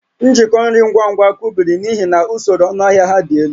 Njikọ nri ngwa ngwa kụbiri n'ihi na usoro ọnụahịa ha dị elu